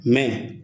Mɛ